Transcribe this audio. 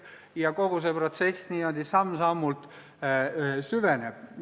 Niimoodi kogu see protsess samm-sammult süveneb.